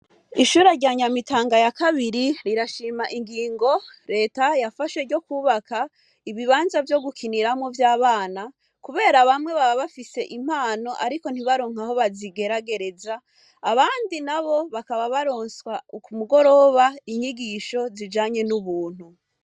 Ishure rya nyamitanga ya kabiri rirashima ingingo reta yafashe ryo kubaka ibibanza vyo gukiniramwo vy'abana, kubera bamwe baba bafise impano, ariko ntibaronka aho bazigeragereza abandi na bo bakaba baronswa uku mugoroba inyigisho zijanye n'ubuntu.